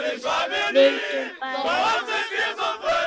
Vildum bæði það sama.